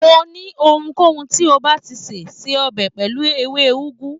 Mo ní ohunkóhun tí o báà ti se, se ọbẹ̀ pẹ̀lú ewé úgú.